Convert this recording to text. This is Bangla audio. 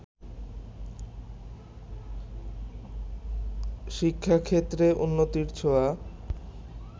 শিক্ষাক্ষেত্রে উন্নতির ছোঁয়া